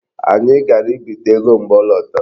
Anyị gara ibite ego mgbe ọ lọtara.